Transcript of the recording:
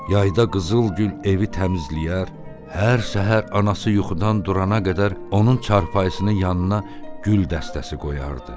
Yayda Qızılgül evi təmizləyər, hər səhər anası yuxudan durana qədər onun çarpayısının yanına gül dəstəsi qoyardı.